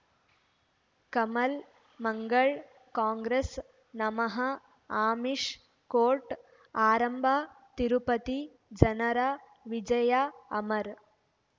ಕಮಲ್ ಮಂಗಳ್ ಕಾಂಗ್ರೆಸ್ ನಮಃ ಅಮಿಷ್ ಕೋರ್ಟ್ ಆರಂಭ ತಿರುಪತಿ ಜನರ ವಿಜಯ ಅಮರ್